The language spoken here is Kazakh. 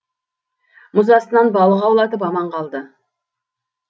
мұз астынан балық аулатып аман қалды